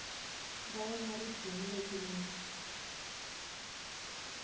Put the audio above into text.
ra wena ri dzimile timitsu